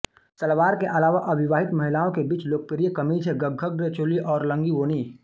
सलवार के अलावा अविवाहित महिलाओं के बीच लोकप्रिय कमीज हैं ग्गघग्र चोली और लंगी वोनि